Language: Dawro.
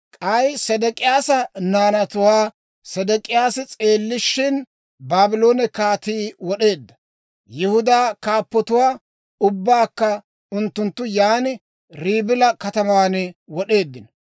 K'ay Sedek'iyaasa naanatuwaa Sedek'iyaasi s'eellishshin, Baabloone kaatii wod'eedda. Yihudaa kaappotuwaa ubbaakka unttunttu yaan Ribila kataman wod'eeddino.